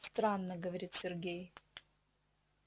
странно говорит сергей